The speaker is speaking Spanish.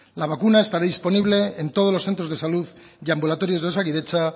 la vacuna estará disponible en todos los centros de salud y ambulatorios de osakidetza